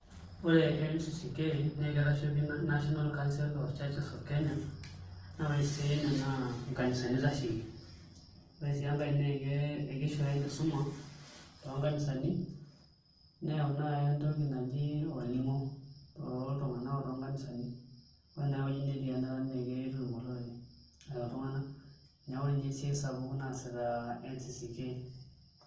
Ore NCCK naa kitashoiki National Council Churches of Kenya naa ore esiai enye naa nkanisani itasheiki ore sii enkae naa kishooyo enkisuma toonkanisani neyau naai entoki naji olning'o toltung'anak o toonkanisani ore naai ewueji netii enara naa kitutum olorere ashu iltung'anak neeku ore ninye esiai sapuk naasita NCCK.